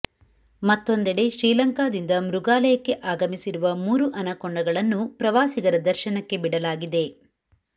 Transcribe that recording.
ಮತ್ತೊಂದೆಡೆ ಶ್ರೀಲಂಕಾದಿಂದ ಮೃಗಾಲಯಕ್ಕೆ ಆಗಮಿಸಿರುವ ಮೂರು ಅನಕೊಂಡಗಳನ್ನು ಪ್ರವಾಸಿಗರ ದರ್ಶನಕ್ಕೆ ಬಿಡಲಾಗಿದೆ